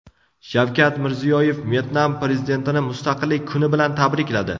Shavkat Mirziyoyev Vyetnam prezidentini Mustaqillik kuni bilan tabrikladi.